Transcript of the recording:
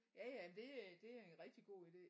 Ja ja det øh det er en rigtig god ide